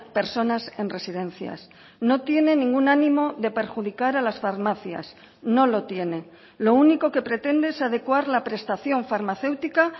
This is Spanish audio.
personas en residencias no tiene ningún ánimo de perjudicar a las farmacias no lo tiene lo único que pretende es adecuar la prestación farmacéutica